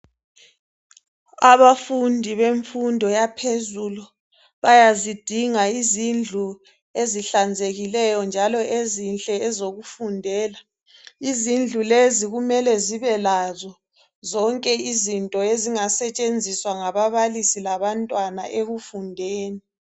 Abafundi bemfundo yaphezulu bayazidinga izindlu ezihlanzekileyo njalo ezinhle ezokufundela izindlu lezi kumele zibelazo zonke izinto ezingasetshenziswa ngabababalisi labantwana ekufundeni